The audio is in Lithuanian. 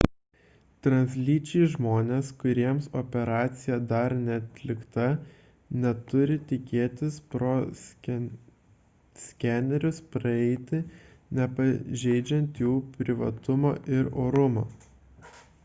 translyčiai žmonės kuriems operacija dar neatlikta neturi tikėtis pro skenerius praeiti nepažeidžiant jų privatumo ir orumo